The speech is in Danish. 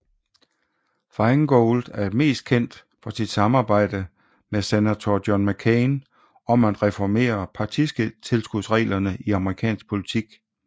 Feingold er mest kendt for sit samarbejde med senator John McCain om at reformere partitilskudsreglerne i amerikansk politik